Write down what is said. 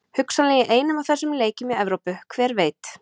Hugsanlega í einum af þessum leikjum í Evrópu, hver veit?